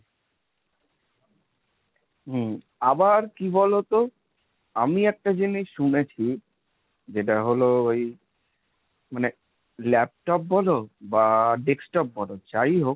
হম আবার কি বলতো? আমি একটা জিনিস শুনেছি যেটা হলো ওই মানে laptop বলো বা desktop বল যাই হোক,